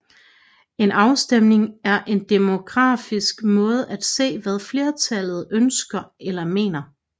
En afstemning er en demokratisk måde at se hvad flertallet ønsker eller mener